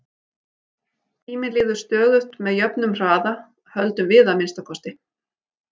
Tíminn líður stöðugt með jöfnum hraða, höldum við að minnsta kosti.